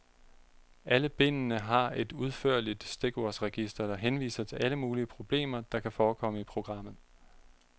Alle bindene har et udførligt stikordsregister, der henviser til alle mulige problemer, der kan forekomme i programmet.